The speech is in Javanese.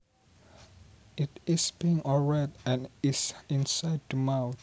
It is pink or red and is inside the mouth